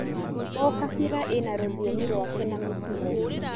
O kabira ĩna rũthiomi rwake na mĩtugo.